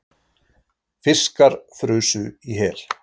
Fiskar frusu í hel